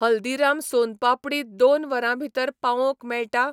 हल्दीराम सोन पापडी दोन वरां भितर पावोवंक मेळटा?